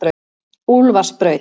Úlfarsbraut